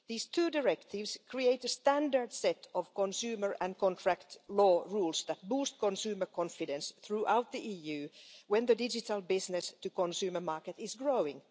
These two directives create a standard set of consumer and contract law rules that boost consumer confidence throughout the EU, when the digital business to consumer market is growing.